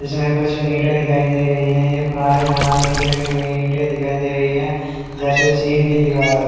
इसमें कुछ ईंट दिखाई दे रही है ये पुराने जमाने की लगी हुई ईंट दिखाई दे रही है जैसे चीन की दीवार हो --